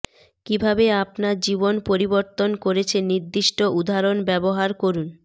কিভাবে আপনার জীবন পরিবর্তন করেছে নির্দিষ্ট উদাহরণ ব্যবহার করুন